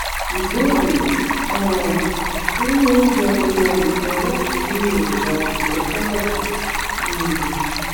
ìbéèrè: um irú oúnjẹ wo la lè jẹ láti dín èròjà cholesterol kù? um